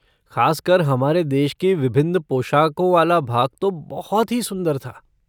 ख़ासकर हमारे देश की विभिन्न पोशाकों वाला भाग तो बहुत ही सुंदर था।